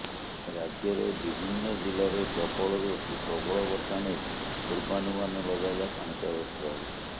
ରାଜ୍ୟରେ ବିଭିନ୍ନ ଜିଲ୍ଲାରେ ପ୍ରବଳରୁ ଅତି ପ୍ରବଳ ବର୍ଷା ନେଇ ପୁର୍ବାନୁମାନ ଲଗାଇଲା ପାଣିପାଗ ବିଭାଗ